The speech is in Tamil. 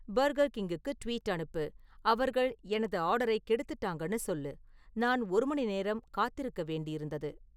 பர்கர்கிங்குக்கு ட்வீட் அனுப்பு, அவர்கள் எனது ஆர்டரைக் கெடுத்துட்டாங்கன்னு சொல்லு, நான் ஒரு மணிநேரம் காத்திருக்க வேண்டியிருந்தது